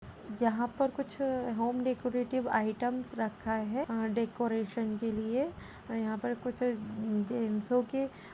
यहाँ पर कुछ होम डेकोरेटिव आइटम्स रखा हैं अ कोरेशन के लिए। अ यहाँ पर कुछ जेन्ट्सों के --